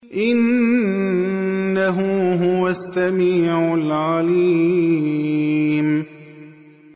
إِنَّهُ هُوَ السَّمِيعُ الْعَلِيمُ